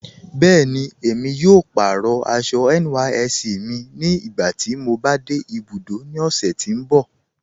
Bẹẹni, emi yóò pàárọ̀ àṣọ̀ NYSC mi nígbàtí mò bá de ibùdó ní ọ̀ṣẹ̀ tì n bọ̀.